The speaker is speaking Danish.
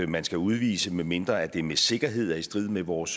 man skal udvise medmindre at det med sikkerhed er i strid med vores